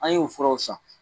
An y'o furaw san.